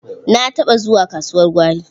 Na taɓa zuwa kasuwar gwari.